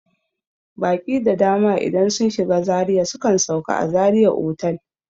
Baƙi da dama idan sun shiga Zaria sukan sauka a zaria otal